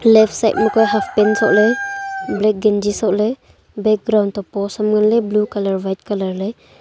left side ma kua haftpan sohle black ganji sohle background to post am nganle blue colour white colour le.